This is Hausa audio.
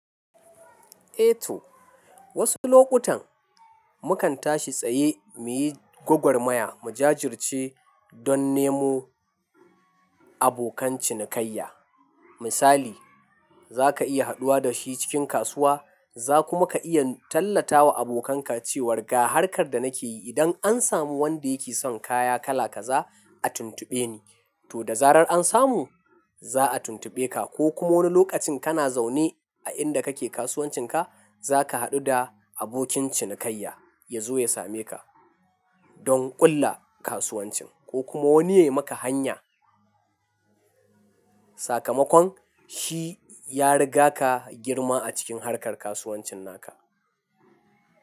Eh to. Wasu lokutan mukan tashi tsaye muyi gwagwarmaya, mu jajirce don nemo abokan cinikayya. Misali zaka iya haɗuwa da shi cikin kasuwa, za kuma ka iya tallata wa abokanka cewar ga harkar da nake yi idan an samu wanda yake son kaya kala kaza a tuntuɓe ni. To da zarar an samu za a tuntuɓe ka ko kuma wani lokacin kana zaune a inda kake kasuwancinka, zaka haɗu da abokin cinikayya ya zo ya same ka don ƙulla kasuwancin ko kuma wani yayi maka hanya. Sakamakon shi ya riga ka girma a cikin harkar kasuwancin naka.